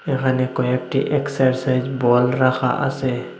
এখানে কয়েকটি exercise ball রাখা আছে।